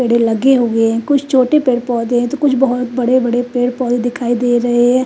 Bell लगे हुए है कुछ चोटी पर पौधे तो कुछ बड़े बड़े पेड़ पौधे दिखाई दे रहे है।